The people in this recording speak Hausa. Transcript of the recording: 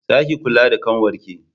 Za ki kula da ƙanwar ki!